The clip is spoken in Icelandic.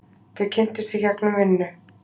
Þau kynntust í gegnum vinnu.